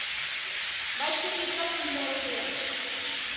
vha tshi ita khumbelo ya